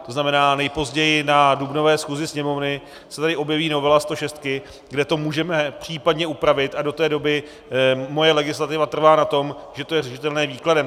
To znamená, nejpozději na dubnové schůzi Sněmovny se tady objeví novela 106, kde to můžeme případně upravit, a do té doby moje legislativa trvá na tom, že to je řešitelné výkladem.